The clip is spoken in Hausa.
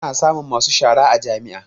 Ana samun masu shara a jami'a